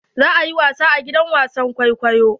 Za ayi wasa a gidan wasan kwaikwayo.